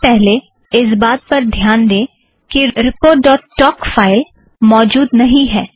सबसे पहले इस बात पर ध्यान दें कि रिपोर्ट ड़ॉट टोक reportटॉक फ़ाइल मौजूद नहीं है